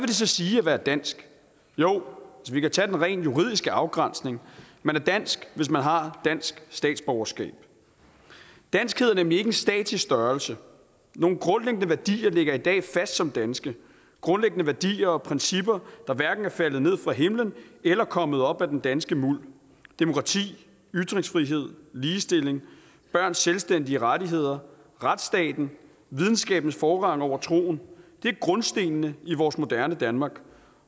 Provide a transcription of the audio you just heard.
det så sige at være dansk jo vi kan tage den rent juridiske afgrænsning man er dansk hvis man har dansk statsborgerskab danskhed er nemlig ikke en statisk størrelse nogle grundlæggende værdier ligger i dag fast som danske grundlæggende værdier og principper der hverken er faldet ned fra himlen eller kommet op af den danske muld demokrati ytringsfrihed ligestilling børns selvstændige rettigheder retsstaten videnskabens forrang over troen det er grundstenene i vores moderne danmark